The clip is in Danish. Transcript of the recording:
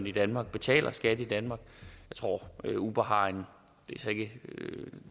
i danmark og betaler skat i danmark og jeg tror at uber har ikke